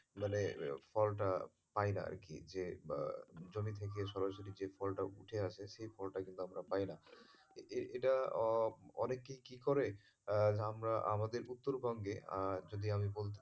মানে ফলটা পাইনা আরকি যে জমি থেকে সরাসরি যে ফলটা উঠে আসে সে ফলটা কিন্তু আমরা পাইনা এ~ এটা অনেকেই কি করে আমরা আমাদের উত্তরবঙ্গে যদি আমি বলি,